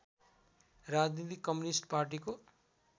राजनीति कम्युनिस्ट पार्टीको